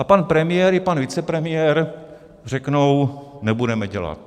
A pan premiér i pan vicepremiér řeknou: nebudeme dělat.